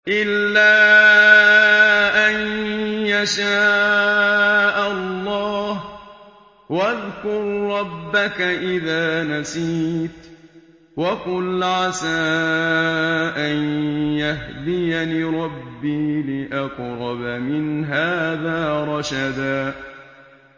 إِلَّا أَن يَشَاءَ اللَّهُ ۚ وَاذْكُر رَّبَّكَ إِذَا نَسِيتَ وَقُلْ عَسَىٰ أَن يَهْدِيَنِ رَبِّي لِأَقْرَبَ مِنْ هَٰذَا رَشَدًا